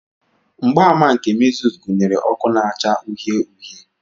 Mgbaàmà nke measles gụnyere ọkụ na-acha uhie uhie.